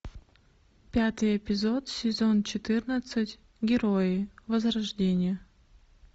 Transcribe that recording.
пятый эпизод сезон четырнадцать герои возрождение